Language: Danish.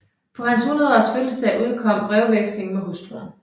Paa hans Hundredaarsfødselsdag udkom hans Brevveksling med Hustruen